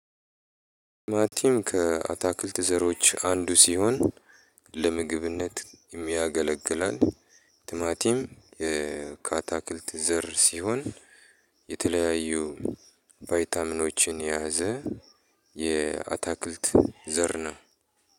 ቲማቲም ከአታክልት ዘሮች አንዱ ሲሆን ለምግብነት ያገለግላል። ቲማቲም ከአታክልት ዘር ሲሆን የተለያዩ ቫይታሚኖችን የያዘ የአታክልት ዘር ነው።